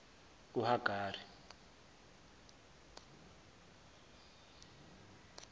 uhagari